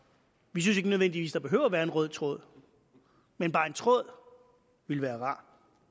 vi synes ikke nødvendigvis at der behøver at være en rød tråd men bare en tråd ville være rar